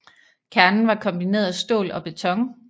Kernen var kombineret af stål og beton